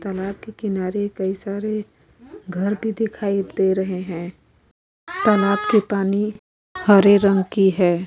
तालाब के किनारे का कई सारे घर भी दिखाई दे रहे हैं। तालाब के पानी हरे रंग की है।